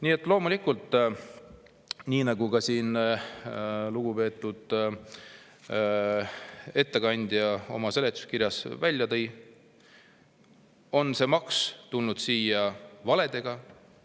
Nii et loomulikult, nii nagu ka lugupeetud ettekandja seletuskirjas välja tõi, tuli see maks siia valedega.